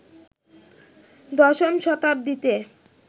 দশম শতাব্দীতে